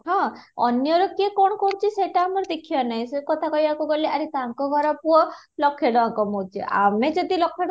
ହଁ, ଅନ୍ୟର କିଏ କ'ଣ କରୁଛି ସେଇଟା ଆମର ଦେଖିବାର ନାହିଁ, ସେ କଥା କହିବାକୁ ଗଲେ ଆରେ ତାଙ୍କ ଘର ପୁଅ ଲକ୍ଷେ ଟଙ୍କା କମଉଛି ଆମେ ଯଦି ଲକ୍ଷେ